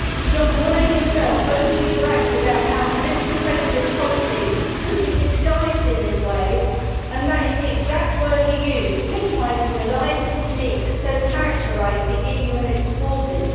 Jean Monnet himself openly bragged about how political federalist policies could be disguised in this way and that is the exact word he used, epitomising the lies and deceit that so characterised the EU and its supporters.